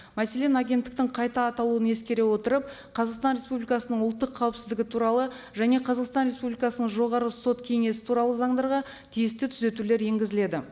мәселен агенттіктің қайта аталуын ескере отырып қазақстан республикасының ұлттық қауіпсіздігі туралы және қазақстан республикасының жоғарғы сот кеңесі туралы заңдарға тиісті түзетулер енгізіледі